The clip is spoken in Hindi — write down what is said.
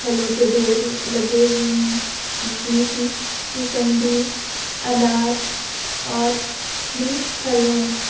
फलों के ढेर लगे हुए हैं जिसमें कि मोसंबी अनार और भी फल हैं।